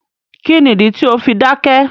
Kíni ìdí tí o fi dákẹ̀?